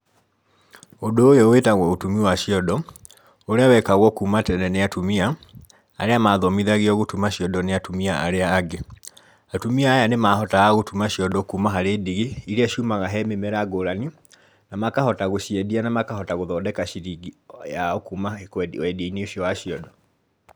Ũndῦ ῦyῦ wῖtagwo ῦtumi wa ciondo, ῦria wekagwo kῦma tene nῖ atumia, aria mathomithagio gῦtuma ciondo nῖ atumia aria angῖ, atumia aya nῖmahotaga gῦtuma ciondo kuma harῖ ndigi iria ciumaga he mῖmera ngῦrani, na makahota gῦciendia na makahota gῦthondeka ciringi yao kuma kῦe wendia-inῖ ῦcio wa ciondo.